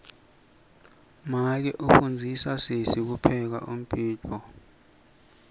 make ufundzisa sesi kupheka umdiduo